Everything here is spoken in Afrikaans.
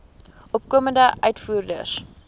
opkomende uitvoerders